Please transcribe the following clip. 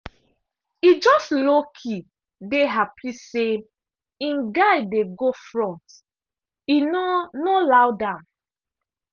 e just lowkey dey happy say im guy dey go front e no no loud am.